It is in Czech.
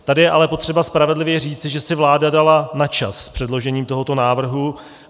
Tady je ale potřeba spravedlivě říci, že si vláda dala na čas s předložením tohoto návrhu.